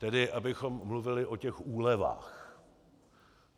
Tedy abychom mluvili o těch úlevách.